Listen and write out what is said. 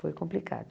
Foi complicado.